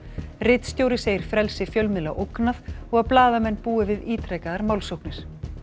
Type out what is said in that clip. ritstjóri segir frelsi fjölmiðla ógnað og að blaðamenn búi við ítrekaðar málsóknir